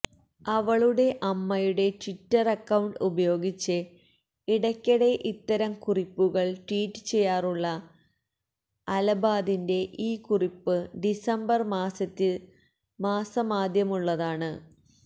അവളുടെ അമ്മയുടെ Twitter account ഉപയോഗിച്ച് ഇടയ്ക്കിടെ ഇത്തരം കുറിപ്പുകൾ ട്വീറ്റ് ചെയ്യാറുള്ള അലബാദിന്റെ ഈ കുറിപ്പ് ഡിസംബർ മാസമാദ്യമുള്ളതാണ്